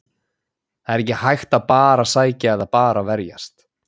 Það er ekki hægt að bara sækja eða bara verjast.